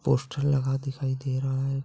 Poster लगा दिखाई दे रहा है।